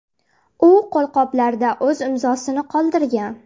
U qo‘lqoplarda o‘z imzosini qoldirgan”.